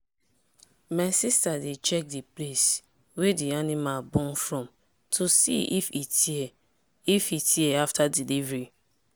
my sister dey check the place wey the animal born from to see if e tear if e tear after delivery.